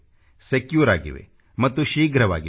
secure ಆಗಿವೆ ಮತ್ತು ಶೀಘ್ರವಾಗಿವೆ